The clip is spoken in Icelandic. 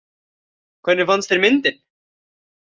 Hvernig fannst þér myndin?